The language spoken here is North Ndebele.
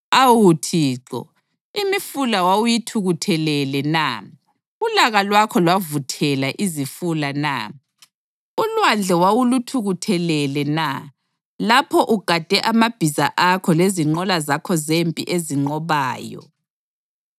Awu Thixo, imifula wawuyithukuthelele na? Ulaka lwakho lwavuthela izifula na? Ulwandle wawuluthukuthelele na lapho ugade amabhiza akho lezinqola zakho zempi ezinqobayo?